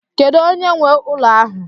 Kedu onye nwe ụlọ ahụ?